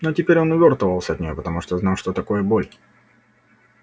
но теперь он увёртывался от неё потому что знал что такое боль